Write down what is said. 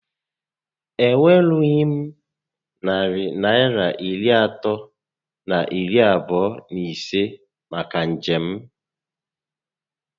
E nwerughị m narị Naịra iri atọ na iri abụọ na ise maka njem